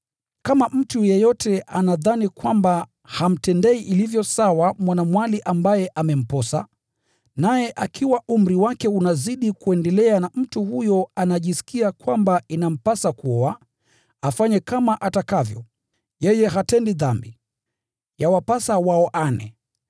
Kama mtu yeyote anadhani kwamba hamtendei ilivyo sawa mwanamwali ambaye amemposa, naye akiwa umri wake unazidi kuendelea na mtu huyo anajisikia kwamba inampasa kuoa, afanye kama atakavyo. Yeye hatendi dhambi. Yawapasa waoane.